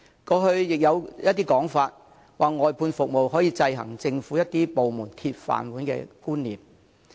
過去也有意見認為，外判服務可以制衡政府一些部門"鐵飯碗"的觀念。